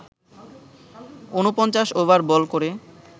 ৪৯ over ball করে